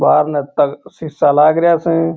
बारन तक सीसा लाग रहा स।